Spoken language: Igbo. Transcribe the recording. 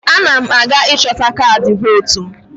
Ana m aga ịchọta kaadị vootu m.